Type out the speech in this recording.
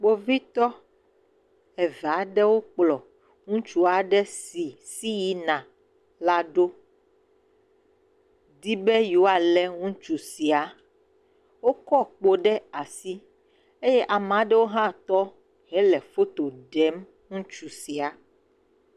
Kpovitɔ eve aɖewo kplɔ ŋutsu aɖe si si yina la ɖo dibe yewoa le ŋutsu sia. Wokɔ kpo ɖe asi eye ameaɖewo ha tɔ hele foto ɖem ŋutsu sia.